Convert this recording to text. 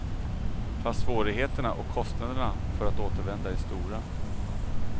Fast svårigheterna och kostnaderna för att återvända är stora.